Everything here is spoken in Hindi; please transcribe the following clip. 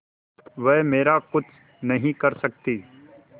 वह मेरा कुछ नहीं कर सकती